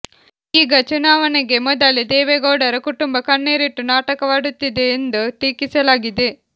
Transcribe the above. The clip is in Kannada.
ಈಗ ಚುನಾವಣೆಗೆ ಮೊದಲೇ ದೇವೇಗೌಡರ ಕುಟುಂಬ ಕಣ್ಣೀರಿಟ್ಟು ನಾಟಕವಾಡುತ್ತಿದೆ ಎಂದು ಟೀಕಿಸಲಾಗಿದೆ